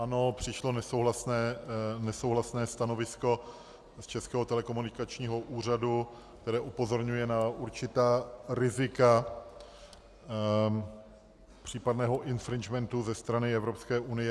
Ano, přišlo nesouhlasné stanovisko z Českého telekomunikačního úřadu, které upozorňuje na určitá rizika případného infringementu ze strany Evropské unie.